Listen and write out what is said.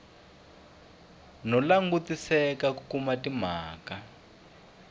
no langutisela ku kuma timhaka